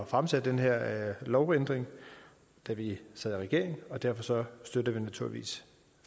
fremsætte den her lovændring da vi sad i regering og derfor støtter vi naturligvis